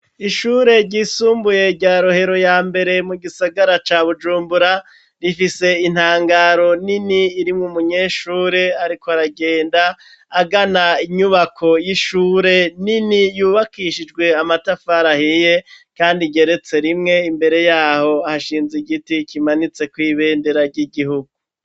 Ishure ryisumbuye rya Rohero ya mbere mu gisagara ca Bujumbura, rifise intangaro nini irimwo umunyeshure ariko aragenda agana inyubako y'ishure nini yubakishijwe amatafari ahiye kandi igeretse rimwe, imbere y'aho hashinze igiti kimanitseko ibendera ry'igihugu.